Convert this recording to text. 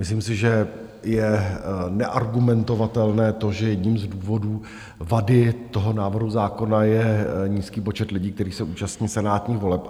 Myslím si, že je neargumentovatelné to, že jedním z důvodů vady toho návrhu zákona je nízký počet lidí, který se účastní senátních voleb.